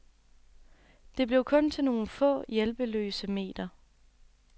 Det blev kun til nogle få, hjælpeløse meter.